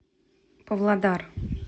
павлодар